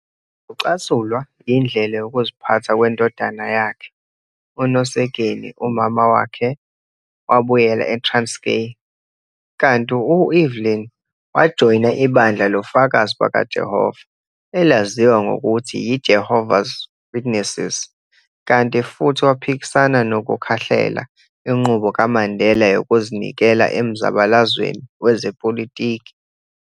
Ngokucasulwa yindlela yokuziphatha kwendodana yakhe, uNosekeni umama wakhe wabuyela eTranskei, kanti u-Evelyn wajoyina ibandla loFakazi bakaJehova elaziwa ngokuthi yi- Jehovah's Witnesses kanti futhi waphikisana nokukhahlela inqubo kaMandela yokuzinikela emzabalazweni wezepolitiki.